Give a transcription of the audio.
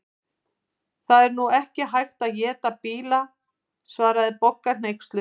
Það er nú ekki hægt að éta bíla svaraði Bogga hneyksluð.